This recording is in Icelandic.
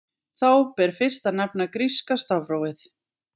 Þá ber fyrst að nefna gríska stafrófið.